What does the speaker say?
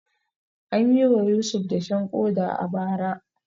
An yi wa Yusuf dashen koda a bara.